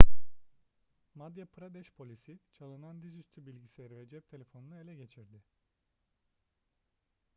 madya pradeş polisi çalınan dizüstü bilgisayarı ve cep telefonunu ele geçirdi